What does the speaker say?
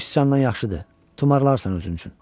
Kiçik siçandan yaxşıdır, tumarlarsan özün üçün.